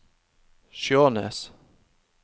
Skjånes